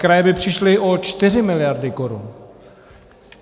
Kraje by přišly o 4 miliardy korun.